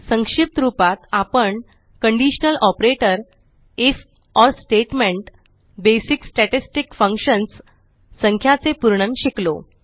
संक्षिप्त रूपात आपण conditional operator if or statement basic statistic functions संख्याचे पूर्णन शिकलो